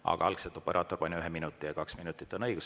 Aga algselt operaator pani ühe minuti ja kaks minutit on õigus saada.